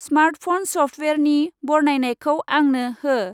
Smart phone स्फ्टवेयारनि बरनायनायखौ आंनो हो।